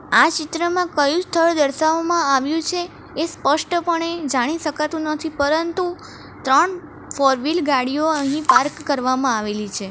આ ચિત્રમાં કયું સ્થળ દર્શાવવામાં આવ્યું છે એ સ્પષ્ટપણે જાણી શકાતું નથી પરંતુ ત્રણ ફોરવીલ ગાડીઓ અહીં પાર્ક કરવામાં આવેલી છે.